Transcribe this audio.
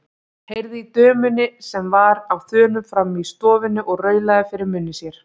Heyrði í dömunni sem var á þönum frammi í stofunni og raulaði fyrir munni sér.